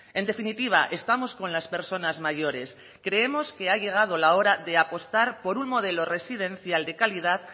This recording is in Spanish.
en definitiva estamos con las personas mayores creemos que ha llegado la hora de apostar por un modelo residencial de calidad